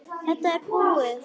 Þetta er búið!